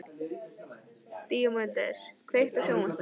Díómedes, kveiktu á sjónvarpinu.